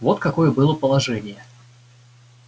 вот какое было положение